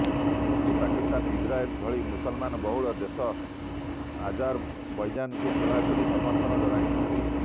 Turkey Pakistan Israel ଭଳି ମୁସଲମାନ୍ ବହୁଳ ଦେଶ ଆଜାରବୈଜାନକୁ ଖୋଲାଖୋଲି ସମର୍ଥନ ଜଣାଇଛନ୍ତି